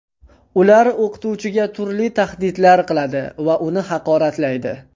Ular o‘qituvchiga turli tahdidlar qiladi va uni haqoratlaydi.